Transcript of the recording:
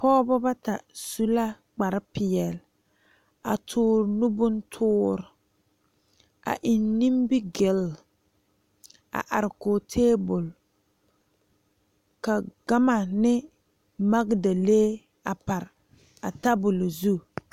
Pɔgebo bata su la kpare peɛle a tuure nu bontuure a eŋ nimigel a are kɔŋ tabol ka gama ne magdalee a pare a tabol zu.